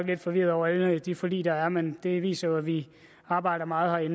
lidt forvirrede over alle de forlig der er men det viser jo at vi arbejder meget